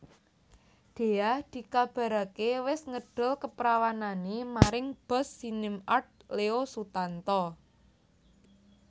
Dhea dikabaraké wis ngedol kaprawanané maring bos SinemArt Leo Sutanto